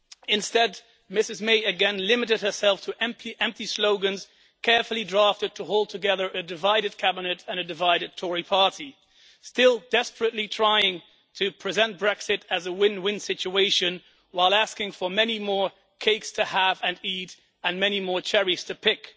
Instead Ms May again limited herself to empty slogans, carefully drafted to hold together a divided Cabinet and a divided Tory party, still desperately trying to present Brexit as a win win situation while asking for many more cakes to have and eat and many more cherries to pick.